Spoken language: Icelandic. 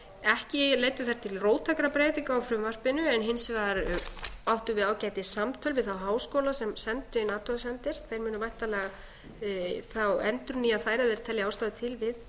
ekki leiddu þær til róttækra breytinga á frumvarpinu en hins vegar áttum við ágætis samtöl við þá háskóla sem sendu inn athugasemdir þeir munu væntanlega þá endurnýja þær ef þeir telja ástæðu til við